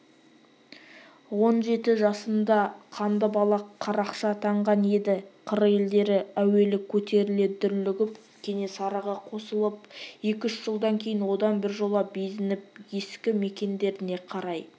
он жеті жасында қанды-балақ қарақшы атанған еді қыр елдері әуелі көтеріле дүрлігіп кенесарыға қосылып екі-үш жылдан кейін одан біржола безініп ескі мекендеріне қарай